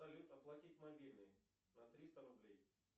салют оплатить мобильный на триста рублей